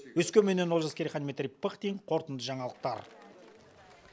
өскеменнен олжас керейхан дмитрий пыхтин қорытынды жаңалықтар